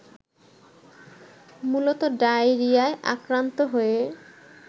মূলত ডায়রিয়ায় আক্রান্ত হয়ে